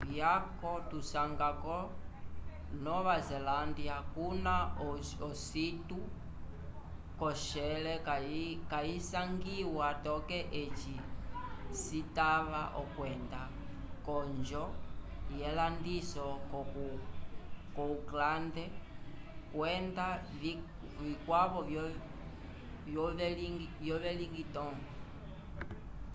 vyaco tuvisanga ko nova zelândia kuna ositu kosher kayisangiwa toke eci citava okwenda k'onjo yelandiso ko auckland kwenda vikwavo vo wellington